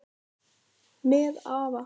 Með afa